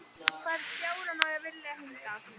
Hvern fjárann er ég að vilja hingað?